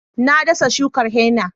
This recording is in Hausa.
Na dasa shukar henna